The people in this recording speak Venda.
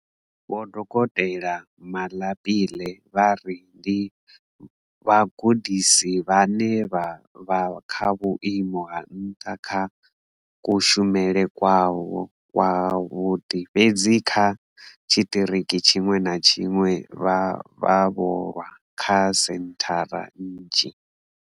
Vho dokotela Malapile vha ri ndi vhagudisi vhane vha vha kha vhuimo ha nṱha kha kushumele kwavho kwavhuḓi fhedzi kha tshiṱiriki tshiṅwe na tshiṅwe vhe vha tholwa kha senthara idzi.